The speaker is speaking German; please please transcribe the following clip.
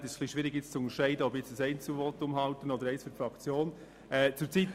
Zurzeit ist es etwas eigenartig, wie es hier im Grossen Rat läuft: